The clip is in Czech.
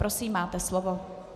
Prosím, máte slovo.